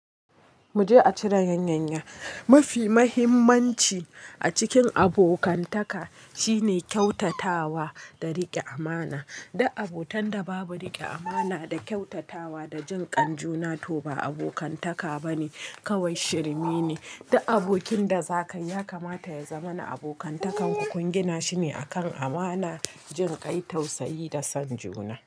Mu je a cire yanyanya. Mafi mahimmanci a cikin abokantaka shine kyautatawa da riƙe amana. Duk abotan da babu riƙe amana da kyautatawa da jin kan juna to ba abokantaka bane, kawai shirmi ne. Duk abokin da zaka yi kamata ya zama na abokantaku kun gina shi ne akan amana, jin kai tausayi da son juna.